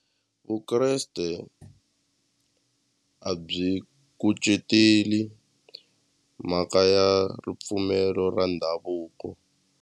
Vukreste a byi kuceteli mhaka ya ripfumelo ra ndhavuko.